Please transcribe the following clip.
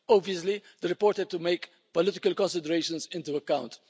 Obviously, the report had to take political considerations into account.